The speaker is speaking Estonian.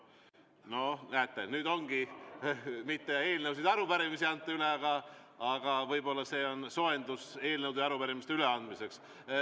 No näete, nüüd ongi nii, et mitte eelnõusid ja arupärimisi ei anta üle, aga võib-olla see on soojendus eelnõude ja arupärimiste üleandmiseks.